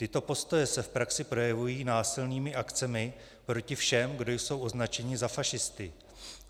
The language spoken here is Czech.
Tyto postoje se v praxi projevují násilnými akcemi proti všem, kdo jsou označeni za fašisty.